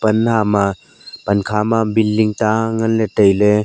ma pan kha ma building ta ngan le tai ley.